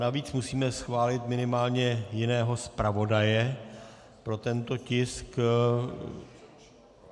Navíc musíme schválit minimálně jiného zpravodaje pro tento tisk.